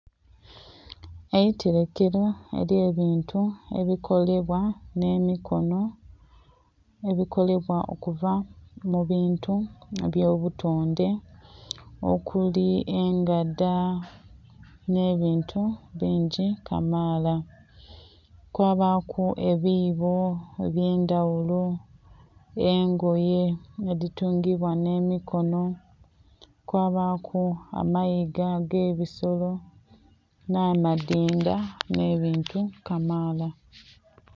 Eitelekelo elye bintu ebikolebwa nh'emikonho, ebikolebwa okuva mu bintu eby'obutonde okuli engada nh'ebintu bingi kamaala, kwabaaku ebiibo eby'endaghulo, engoye edhitungiibwa nh'emikonho, kwabaaku amayiga ag'ebisolo nha madhindha nh'ebintu kamaala.